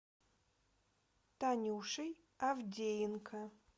танюшей авдеенко